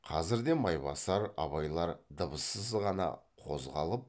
қазірде майбасар абайлар дыбыссыз ғана қозғалып